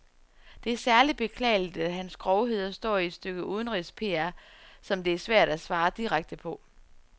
Det er særligt beklageligt, at hans grovheder står i et stykke udenrigs-PR, som det er svært at svare direkte på.